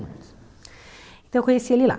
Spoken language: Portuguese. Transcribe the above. muitos. Então eu conheci ele lá.